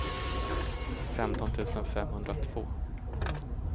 femton tusen femhundratvå